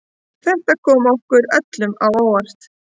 Þetta kom okkur öllum á óvart